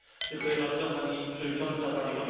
Pani Przewodnicząca, Panie Komisarzu!